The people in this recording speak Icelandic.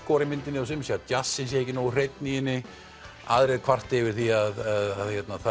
djassskor í myndinni sumir segja að djassinn sé ekki nógu hreinn í henni aðrir kvarta yfir því að